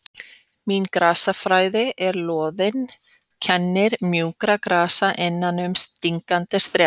Mín grasafræði er loðin kennir mjúkra grasa innan um stingandi strá